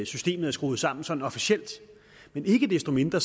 systemet er skruet sammen sådan officielt men ikke desto mindre